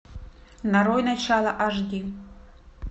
нарой начало аш ди